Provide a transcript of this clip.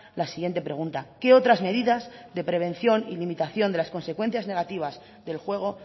la siguiente pregunta qué otras medidas de prevención y limitación de las consecuencias negativas del juego